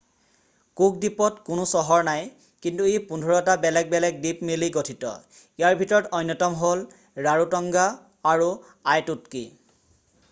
Cook দ্বীপত কোনো চহৰ নাই কিন্তু ই 15 টা বেলেগ বেলেগ দ্বীপ মিলি গঠিত। ইয়াৰ ভিতৰত অন্যতম হ'ল ৰাৰোতঙ্গা আৰু আইটুটকী।